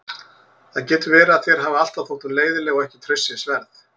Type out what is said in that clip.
Það getur verið að þér hafi alltaf þótt hún leiðinleg og ekki traustsins verð.